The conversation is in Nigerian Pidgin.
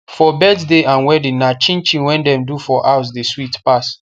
for birthday and wedding na chinchin wey dem do for house de sweet pass